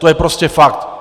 To je prostě fakt.